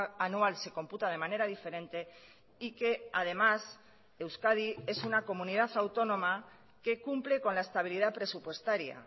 anual se computa de manera diferente y que además euskadi es una comunidad autónoma que cumple con la estabilidad presupuestaria